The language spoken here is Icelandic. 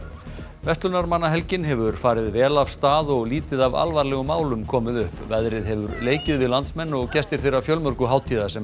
verslunarmannahelgin hefur farið vel af stað og lítið af alvarlegum málum komið upp veðrið hefur leikið við landsmenn og gestir þeirra fjölmörgu hátíða sem